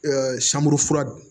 sanbulu fura